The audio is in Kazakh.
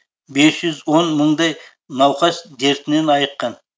бес жүз он мыңдай науқас дертінен айыққан